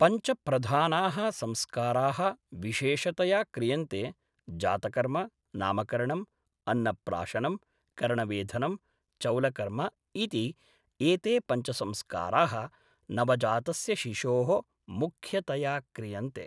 पञ्चप्रधानाः संस्काराः विशेषतया क्रियन्ते जातकर्म नामकरणम् अन्नप्राशनं कर्णवेधनं चौलकर्म इति एते पञ्च संस्काराः नवजातस्य शिशोः मुख्यतया क्रियन्ते